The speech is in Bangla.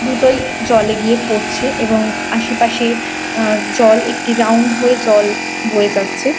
দুটোই জলে গিয়ে পড়ছে এবং আসে পাশে আ জল একটি রাউন্ড হয়ে জল বয়ে যাচ্ছে ।